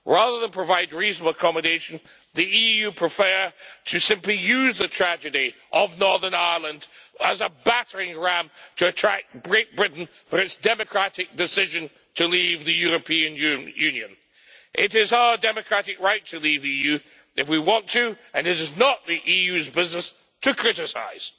Rather than provide reasonable accommodation, the EU prefers simply to use the tragedy of Northern Ireland as a battering ram to attack Great Britain for its democratic decision to leave the European Union. It is our democratic right to leave the EU if we want to, and it is not the EU's business to criticise.